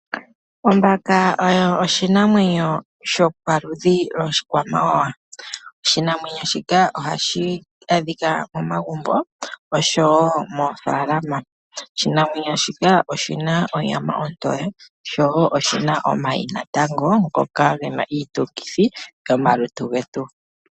Ombaka oyo oshinamwenyo shopaludhi oshikwamawawa. Oshinamwenyo shika ohashi adhika momagumbo oshowo moofaalama. Oshinamwenyo shika oshina onyama ontoye showo oshina omayi natango ngoka gena iitungithi komalutu getu.